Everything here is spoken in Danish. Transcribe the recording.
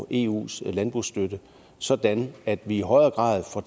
i eus landbrugsstøtte sådan at vi i højere grad får